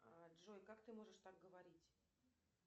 джой как ты можешь так говорить